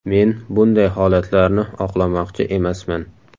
Men bunday holatlarni oqlamoqchi emasman.